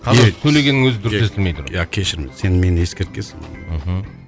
қазір сөйлегеннің өзі дұрыс естілмей тұр иә кешір мені сен мені ескерткенсің мхм